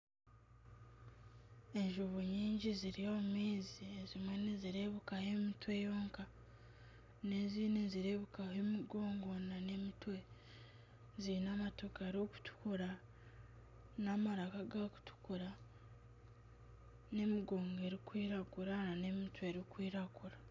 Enjubu nyingi ziri omu maizi. Ezimwe nizirebekaho emitwe yonka n'ezindi nizirebekaho emigongo n'emitwe. Ziine amatu garikutukura n'amaraka gakutukura n'emigongo erikwiragura n'emitwe erikwiragura.